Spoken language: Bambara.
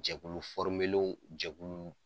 Jɛkulu jɛkulu